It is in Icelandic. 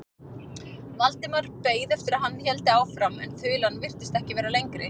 Valdimar beið eftir að hann héldi áfram en þulan virtist ekki vera lengri.